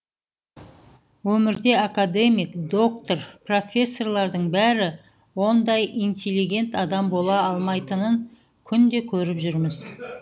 өмірде академик доктор профессорлардың бәрі ондай интеллигент адам бола алмайтынын күнде көріп жүрміз